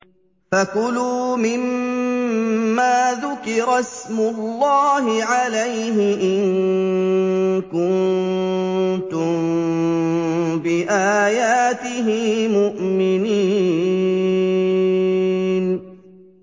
فَكُلُوا مِمَّا ذُكِرَ اسْمُ اللَّهِ عَلَيْهِ إِن كُنتُم بِآيَاتِهِ مُؤْمِنِينَ